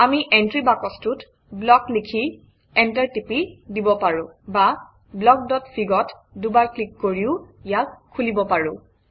আমি এণ্ট্ৰি বাকচটোত ব্লক লিখি এণ্টাৰ টিপি দিব পাৰোঁ বা blockfig অত দুবাৰ ক্লিক কৰিও ইয়াক খুলিব পাৰোঁ